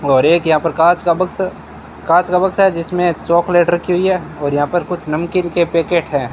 और एक यहां पर कांच का बक्शा कांच का बक्शा है जिसमें चॉकलेट रखी हुई है और यहां पर कुछ नमकीन के पैकेट है।